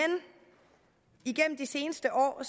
igennem de seneste år er